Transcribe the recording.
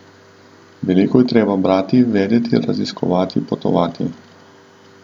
Veliko je treba brati, vedeti, raziskovati, potovati.